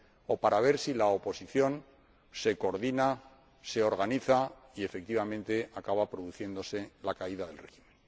o para ver si la oposición se coordina, se organiza y, efectivamente, acaba produciéndose la caída del régimen.